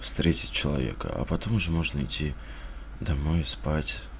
встретить человека а потом уже можно идти домой спать